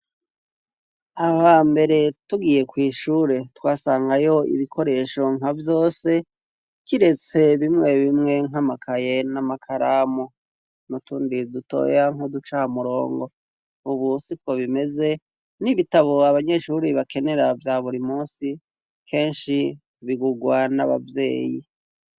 aba mbere tugiye kw'ishure twasangayo ibikoresho nka vyose kiretse bimwe bimwe nkamakaye n'amakaramu nutundi dutoya nkoducamurongo ubusi ikaba bimeze n'ibitabo abanyeshure bakenera vya buri munsi kenshi bigugwa n'ababyeyi